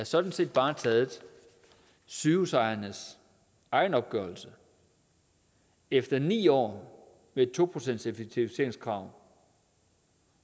sådan set bare taget sygehusejernes egen opgørelse efter ni år med et to procentseffektiviseringskrav